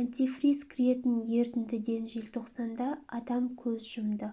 антифриз кіретін ерітіндіден желтоқсанда адам көз жұмды